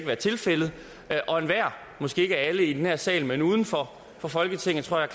være tilfældet og enhver måske ikke alle i den her sal men uden for for folketinget tror jeg